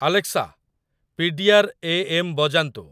Alexa, PDR. AM. ବଜାନ୍ତୁ